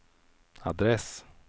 adress